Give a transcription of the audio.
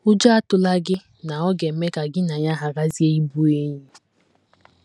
Ụjọ atụla gị na ọ ga - eme ka gị na ya gharazie ịbụ enyi!